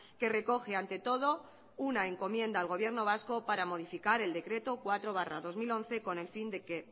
que recoge ante todo una encomienda al gobierno vasco para modificar el decreto cuatro barra dos mil once con el fin de que